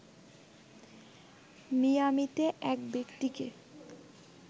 মিয়ামিতে এক ব্যক্তিকে